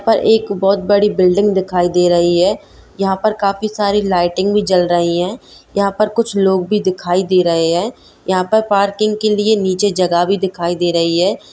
बहुत बड़ी बिल्डिंग दिखाई दे रही है यहाँ पर काफी सारी लाइटिंग भी जल रही है यहाँ पर कुछ लोग भी दिखाई दे रहे है यहाँ पर पार्किंग के लिए नीचे जगह भी दिखाई दे रही है।